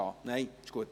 Dann ist es gut.